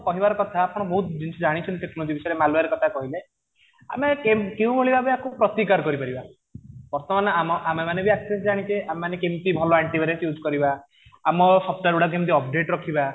କହିବାର କଥା ଆପଣ ବହୁତ ଜିନିଷ ଜାଣିଛନ୍ତି ଟେକ୍ନୋଲୋଜି ବିଷୟରେ malware କଥା କହିଲେ ଆମେ କେଉଁ ଭଳି ଭାବେ ଆକୁ ପ୍ରତିକାର କରିପାରିବା ବର୍ତ୍ତମାନ ଆମେ ମାନେ ବି access ଜାଣିଛେ ଆମେ ମାନେ କେମିତି ଭଲ ଆଣ୍ଟି ଭାଇରସ use କରିବା ଆମ software ଗୁଡାକ କେମିତି update ରଖିବା